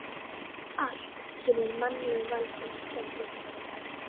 Allt sem í mannlegu valdi stendur.